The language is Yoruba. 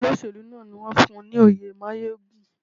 Olóṣèlú náà ni wón fún ní oyè máyégún.